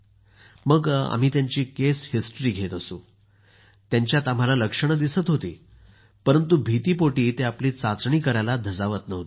जेंव्हा आम्ही त्यांची केस हिस्टरी घेत असू तेव्हा त्यांच्यात आम्हाला लक्षणं दिसत होती परंतु भीतीपोटी ते आपली चाचणी करायला धजावत नव्हते